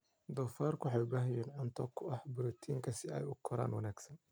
Doofaarku waxay u baahan yihiin cunto qani ku ah borotiinka si ay u koraan wanaagsan.